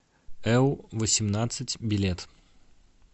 эу восемнадцать билет